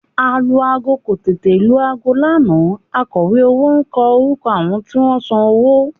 Alu-aago kò tètè lu aago lánàá akọ̀wé owó kọ orúkọ àwọn tí wọ́n san owó